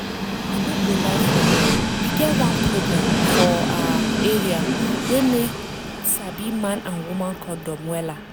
i no go lie for you e get one program for awa area wey make sabi man and woman condom wella